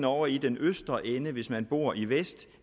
ovre i den østre ende hvis man bor i vest